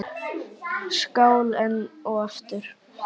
Skál enn og aftur!